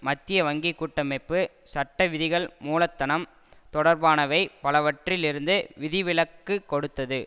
மத்திய வங்கி கூட்டமைப்பு சட்டவிதிகள் மூலதனம் தொடர்பானவை பலவற்றில் இருந்து விதிவிலக்கு கொடுத்தது